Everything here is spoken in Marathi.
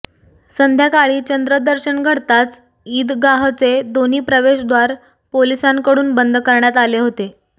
संध्याकाळी चंद्रदर्शन घडताच ईदगाहचे दोन्ही प्रवेशद्वार पोलिसांकडून बंद करण्यात आले होते